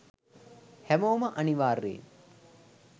හැමෝම අනිවාර්යෙන්